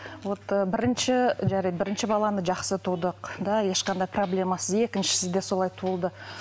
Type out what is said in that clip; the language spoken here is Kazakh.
вот ы бірінші жарайды бірінші баланы жақсы тудық да ешқандай проблемасыз екіншісін де солай туылды